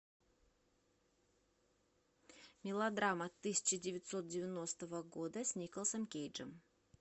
мелодрама тысяча девятьсот девяностого года с николасом кейджем